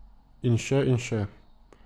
In še in še.